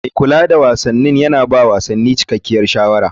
Mai kula da wasan yana ba wa wasanni cikakkiyar shawara.